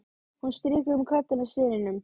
Hún strýkur um kollinn á syninum.